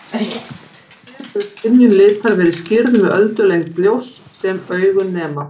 Hér hefur skynjun litar verið skýrð með öldulengd ljóss sem augun nema.